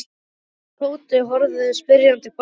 Örn og Tóti horfðu spyrjandi hvor á annan.